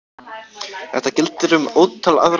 Þetta gildir um ótal aðra hluti.